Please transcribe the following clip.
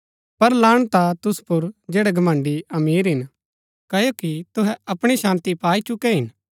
पर लाणत हा तुसु पुर जैड़ै घमण्‍ड़ी अमीर हिन क्ओकि तुहै अपणी शान्ती पाई चुकै हिन